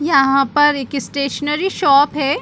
यहाँ पर एक स्टेशनरी शॉप है।